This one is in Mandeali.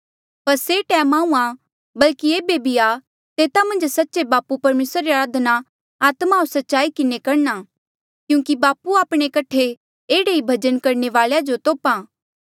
पर से टैम आहूँआं बल्कि एेबे भी आ तेता मन्झ सच्चे बापू परमेसरा री अराधना आत्मा होर सच्चाई किन्हें करणा क्यूंकि बापू आपणे कठे एह्ड़े ई भजन करणे वालेया जो तोप्हा